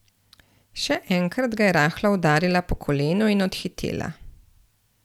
Še enkrat ga je rahlo udarila po kolenu in odhitela.